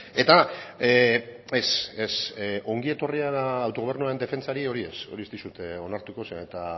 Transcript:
eta ongi etorria autogobernua defentsari hori ez hori ez dizut onartuko zeren eta